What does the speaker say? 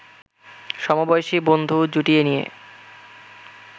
সমবয়সী বন্ধু জুটিয়ে নিয়ে